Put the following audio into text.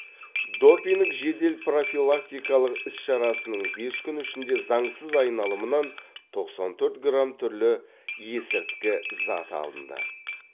допинг жедел профилактикалық іс шарасының бес күн ішінде заңсыз айналымнан тоқсан төрт грамм түрлі есірткі зат алынды